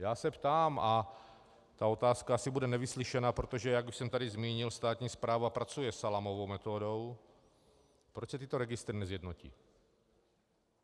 Já se ptám, a ta otázka asi bude nevyslyšena, protože jak už jsem tady zmínil, státní správa pracuje salámovou metodou - proč se tyto registry nesjednotí?